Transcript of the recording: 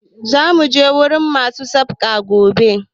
Za mu je wurin ma su Sassaƙa gobe